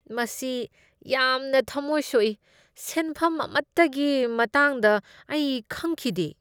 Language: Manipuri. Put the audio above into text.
ꯃꯁꯤ ꯌꯥꯝꯅ ꯊꯃꯣꯏ ꯁꯣꯛꯏ ꯫ ꯁꯦꯟꯐꯝ ꯑꯃꯠꯇꯒꯤ ꯃꯇꯥꯡꯗ ꯑꯩ ꯈꯪꯈꯤꯗꯦ ꯫